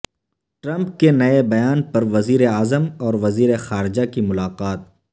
Trump کے نئے بیان پر وزیراعظم اور وزیر خارجہ کی ملاقات